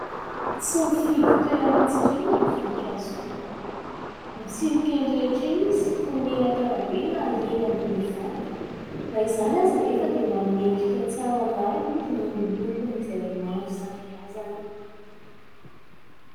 Tsy mifidy toerana hitsirina ny voninkazo dia, mitsimoka eny rehetra eny izy, toy ny eny an-karabe na eny ambony vato, na izany aza anefa dia manome endrika tsara ny lalana izy noho ny lokony izay maro isan-karazany.